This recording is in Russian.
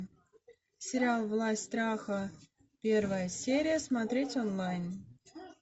сериал власть страха первая серия смотреть онлайн